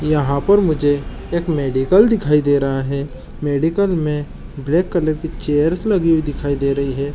यहाँ पर मुझे एक मेडिकल दिखाई दे रहा है मेडिकल में ब्लैक कलर की चेयर्स लगी हुई दिखाई दे रही है।